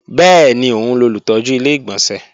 Bẹ́ẹ̀ni, òun lolùtọ́jú Ilé-ìgbọ̀nsẹ̀